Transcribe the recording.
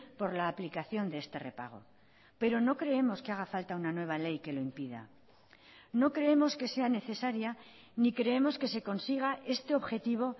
por la aplicación de este repago pero no creemos que haga falta una nueva ley que lo impida no creemos que sea necesaria ni creemos que se consiga este objetivo